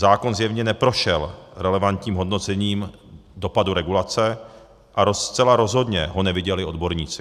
Zákon zjevně neprošel relevantním hodnocením dopadu regulace a zcela rozhodně ho neviděli odborníci.